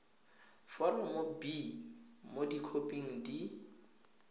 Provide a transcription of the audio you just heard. foromo b mo dikhoping di